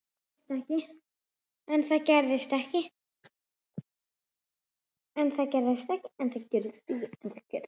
En það gerist ekki.